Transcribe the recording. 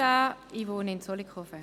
Ich wohne in Zollikofen.